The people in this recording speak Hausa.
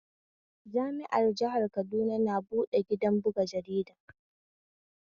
Jami'ar jihar Kaduna na buɗe gidan buga jarida